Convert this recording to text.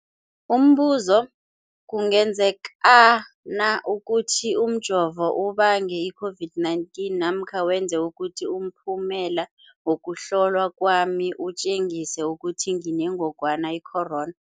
Umbuzo, kungenzekana ukuthi umjovo ubange i-COVID-19 namkha wenze ukuthi umphumela wokuhlolwa kwami utjengise ukuthi nginengogwana i-corona?